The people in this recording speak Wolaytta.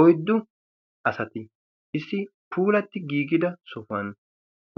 oiddu asati issi puulatti giigida sohuwan